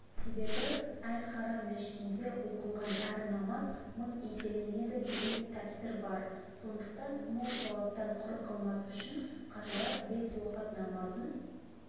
себебі әл-харам мешітінде оқылған әр намаз мың еселенеді деген тәпсір бар сондықтан мол сауаптан құр қалмас үшін қажылар бес уақыт намазын